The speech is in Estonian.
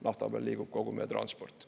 Nafta peal liigub kogu meie transport.